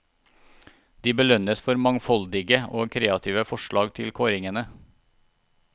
De belønnes for mangfoldige og kreative forslag til kåringene.